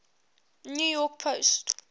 new york post